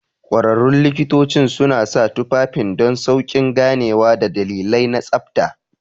Ƙwararrun likitocin suna sa tufafin don sauƙin ganewa da dalilai na tsabta.